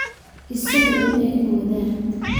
Isagu uma eka wadaad